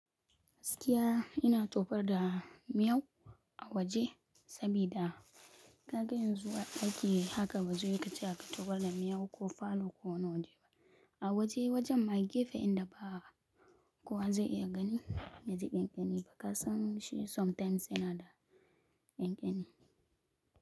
Askiya ina tofar da miyau a waje sabida ka ga yanzu a daki haka bazuyi kace ka tofar da miyau ko falo ko nauje ba. A waje wajan mage fe inda ba kowa zai iya gani me zai iya ƙeni fa kasan shi sometimes yana da ƙen keni.